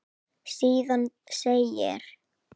Síðan segir